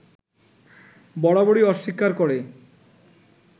বরাররই অস্বীকার করে